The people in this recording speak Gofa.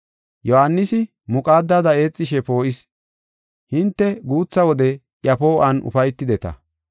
Yohaanisi muqaadada eexishe poo7is. Hinte guutha wode iya poo7uwan ufaytideta.